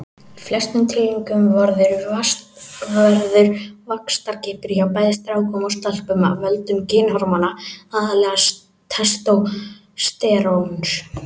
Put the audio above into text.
Í flestum tilvikum verður vaxtarkippur hjá bæði strákum og stelpum af völdum kynhormóna, aðallega testósteróns.